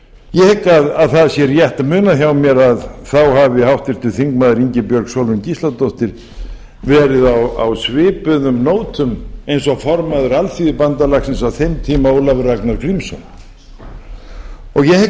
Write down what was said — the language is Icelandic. ég hygg að það sé rétt munað hjá mér að þá hafi háttvirtur þingmaður ingibjörg sólrún gísladóttir verið á svipuðum nótum eins og formaður alþýðubandalagsins á þeim tíma ólafur ragnar grímsson og ég hygg að